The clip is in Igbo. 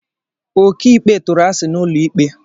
Okiikpe tụrụ asị n'ụlọ ikpe